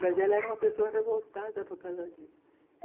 Mas ela era uma pessoa revoltada por causa disso.